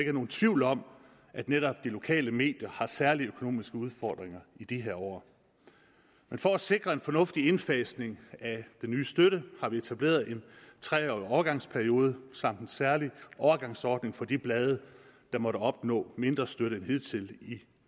er nogen tvivl om at netop de lokale medier har særlige økonomiske udfordringer i de her år men for at sikre en fornuftig indfasning af den nye støtte har vi etableret en tre årig overgangsperiode samt en særlig overgangsordning for de blade der måtte opnå mindre støtte end hidtil i